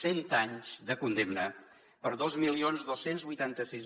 cent anys de condemna per a dos mil dos cents i vuitanta sis